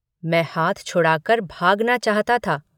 मैं हाथ छुड़ाकर भागना चाहता था।